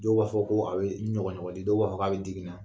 Dɔw b'a fɔ ko a bɛ ɲɔgɔɲɔgɔli dɔw b'a fɔ k' a bɛ digi n na